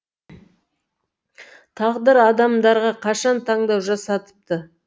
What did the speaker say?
тағдыр адамдарға қашан таңдау жасатыпты